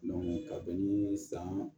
ka bɛn niii san